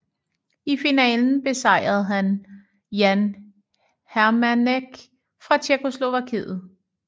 I finalen besejrede han Jan Heřmánek fra Tjekkoslovakiet